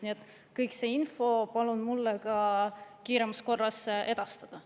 Nii et kõik see info palun mulle ka kiiremas korras edastada.